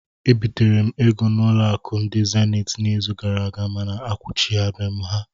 Ebitere m ego n'ụlọ akụ ndị zenit n'izu gara aga mana akwụghachila m ha